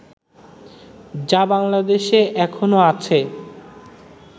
যা বাংলাদেশে এখনো আছে